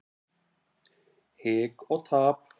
Hik og tap.